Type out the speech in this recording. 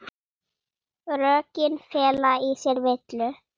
Rökin fela í sér villu.